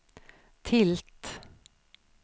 tilt